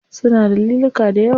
Suna da liluka dayawa.